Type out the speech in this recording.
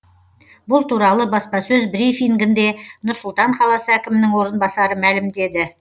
бұл туралы баспасөз брифингінде нұр сұлтан қаласы әкімінің орынбасары мәлімдеді